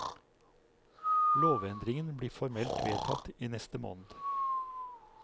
Lovendringen blir formelt vedtatt i neste måned.